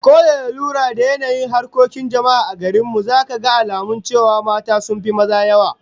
Ko da lura da yanayin harkokin jama'a a garin mu, zaka ga alamu cewa mata sun fi maza yawa.